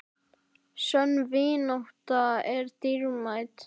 Sönn vinátta er dýrmæt.